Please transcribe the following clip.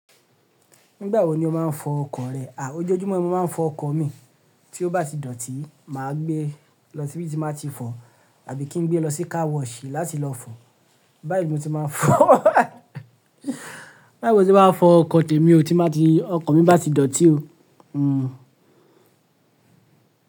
Nígbà wo ni o máa ń fọ ọkọ̀ rẹ? A! Ojoojúmọ́ ni mo máa ń fọ ọkọ̀ mi, tí ó bá ti dọ̀tí má gbé lọ síbí tí máa ti fọ̀ àbí kí n gbé lọ sí car wash láti lọ fọ̀, báyìí mo ti máa ń fọ, báyìí mo ti máa fọ ọkọ̀ tèmi ò tí má ti, ọkọ̀ mi bá ti dọ̀tí o, hmm.